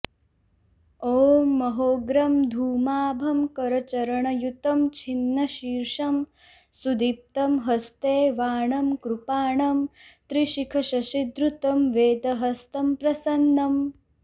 ॐ महोग्रं धूमाभं करचरणयुतं छिन्नशीर्षं सुदीप्तम् हस्ते वाणं कृपाणं त्रिशिखशशिधृतं वेदहस्तं प्रसन्नं